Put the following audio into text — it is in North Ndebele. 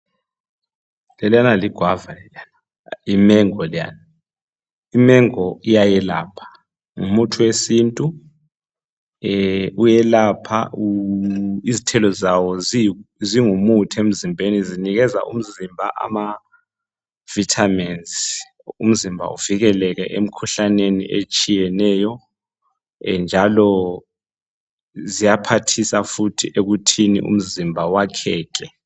Leliyana ligwava leliyana. Yimengo leyana. Imengo iyelapha. Ngumuthi wesintu, njalo, ziyaphathisa futhi ekuthini umzimba wakheke.